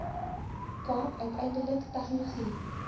kaap uiteindelik tegnologie